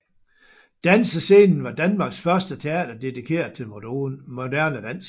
Dansescenen var Danmarks første teater dedikeret til moderne dans